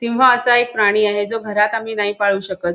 सिंह असा एक प्राणी आहे जो घरात आम्ही नाही पाळू शकत.